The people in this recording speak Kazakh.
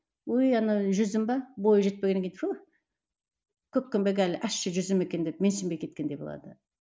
ой ана жүзім бе бойы жетпегеннен кейін көкпеңбек әлі ащы жүзім екен деп менсінбей кеткендей болады